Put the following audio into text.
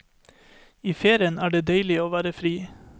I ferien er det deilig å være fri.